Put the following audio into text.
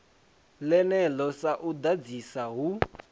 ḽeneḽo sa u ḓadzisa hu